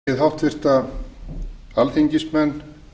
ég býð háttvirta alþingismenn